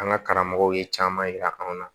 An ka karamɔgɔw ye caman yira an na